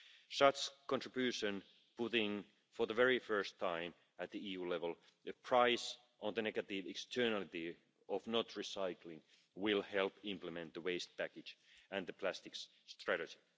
Such a contribution putting for the very first time at the EU level the price of the negative externality of not recycling will help implement the Waste Package and the Plastics Strategy.